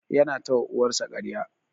Yana ta wa uwar sa karya.